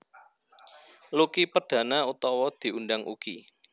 Lucky Perdana utawa diundang Uky